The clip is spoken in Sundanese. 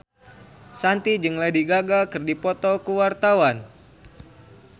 Shanti jeung Lady Gaga keur dipoto ku wartawan